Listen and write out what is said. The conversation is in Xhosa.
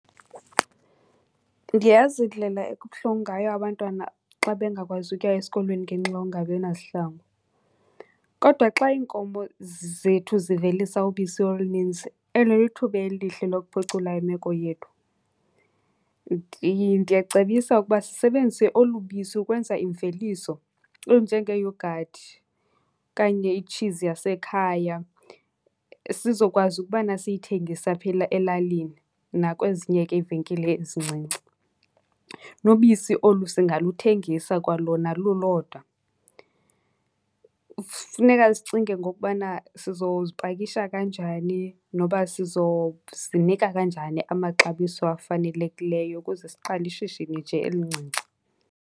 Ndiyayazi indlela ekubuhlungu ngayo abantwana xa bengakwazi ukuya esikolweni ngenxa yokungabi nazihlangu. Kodwa xa iinkomo zethu zivelisa ubisi oluninzi eli lithuba elihle lokuphucula imeko yethu. Ndiyacebisa ukuba sisebenzise olu bisi ukwenza iimveliso ezinjengeeyogathi okanye itshizi yasekhaya, sizokwazi ukubana siyithengise apha elalini nakwezinye ke iivenkile ezincinci. Nobisi olu singaluthengisa kwalona lulodwa. Funeka sicinge ngokubana sizozipakisha kanjani noba sizozinika kanjani amaxabiso afanelekileyo ukuze siqale ishishini nje elincinci.